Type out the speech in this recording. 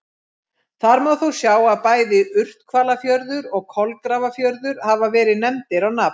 Þar má þó sjá að bæði Urthvalafjörður og Kolgrafafjörður hafa verið nefndir á nafn.